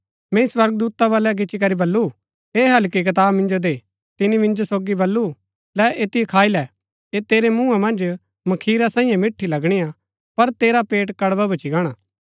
मैंई स्वर्गदूता बलै गिच्ची करी बल्लू ऐह हल्की कताब मिंजो दे तिनी मिंजो सोगी बल्लू लै ऐतिओ खाई लै ऐह तेरै मुँहा मन्ज मखीरा सांईये मिट्ठी लगणी हा पर तेरा पेट कड़वा भूच्ची गाणा